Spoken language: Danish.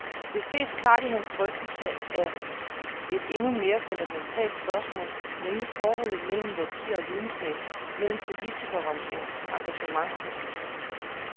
Det ses klart i hans drøftelse af et endnu mere fundamentalt spørgsmål, nemlig forholdet mellem værdier og videnskab, mellem politikerens engagement og hans viden.